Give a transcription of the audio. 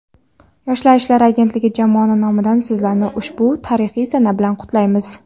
Yoshlar ishlari agentligi jamoasi nomidan Sizlarni ushbu tarixiy sana bilan qutlaymiz.